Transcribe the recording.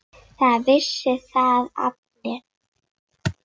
Það vissu það allir.